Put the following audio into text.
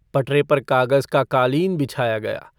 पटरे पर कागज का कालीन बिछाया गया।